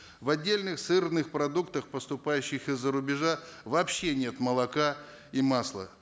в отдельных сырных продуктах поступающих из за рубежа вообще нет молока и масла